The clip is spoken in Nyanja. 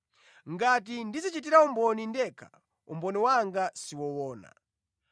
“Ngati ndidzichitira umboni ndekha, umboni wanga si woona.